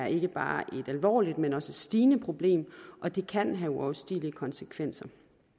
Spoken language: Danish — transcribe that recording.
ikke bare er et alvorligt men også stigende problem og det kan have uoverstigelige konsekvenser